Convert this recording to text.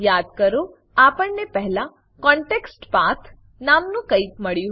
યાદ કરો આપણને પહેલા કોન્ટેક્સ્ટપાથ કોનટેક્સ્ટપાથ નામનું કઈક મળ્યું હતું